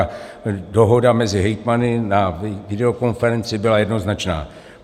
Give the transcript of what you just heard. A dohoda mezi hejtmany na videokonferenci byla jednoznačná.